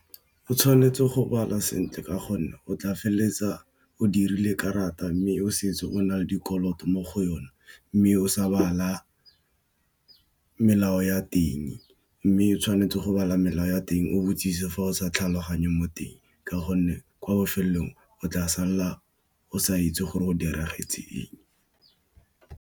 O tshwanetse go bala sentle ka gonne o tla feleletsa o dirile karata, mme o setse o na le dikoloto mo go yona, mme o sa bala melao ya teng. Mme, o tshwanetse go bala melao ya teng o botsise fa o sa tlhaloganye mo teng ka gonne kwa bofelelong o tla sala o sa itse gore go diragetseng.